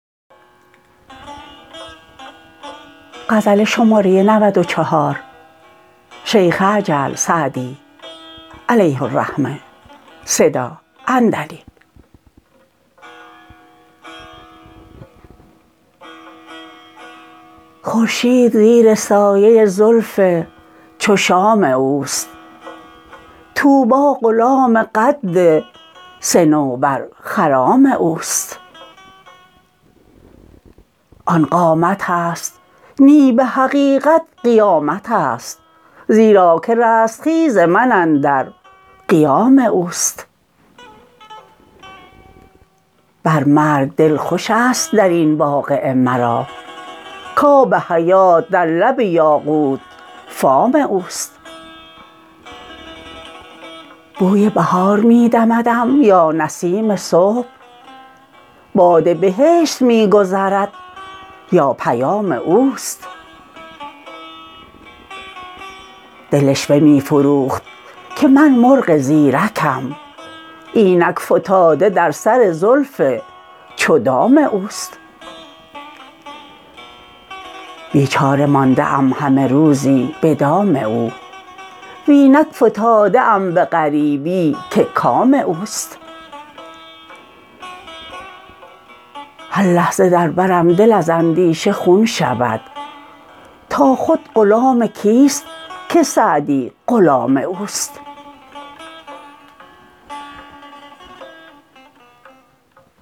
خورشید زیر سایه زلف چو شام اوست طوبی غلام قد صنوبرخرام اوست آن قامتست نی به حقیقت قیامتست زیرا که رستخیز من اندر قیام اوست بر مرگ دل خوشست در این واقعه مرا کآب حیات در لب یاقوت فام اوست بوی بهار می دمدم یا نسیم صبح باد بهشت می گذرد یا پیام اوست دل عشوه می فروخت که من مرغ زیرکم اینک فتاده در سر زلف چو دام اوست بیچاره مانده ام همه روزی به دام او و اینک فتاده ام به غریبی که کام اوست هر لحظه در برم دل از اندیشه خون شود تا خود غلام کیست که سعدی غلام اوست